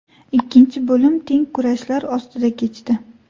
Ikkinchi bo‘lim teng kurashlar ostida kechdi.